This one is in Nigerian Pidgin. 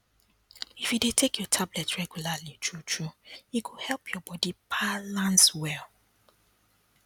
if you dey take your tablet regularly truetrue e go help your body balance well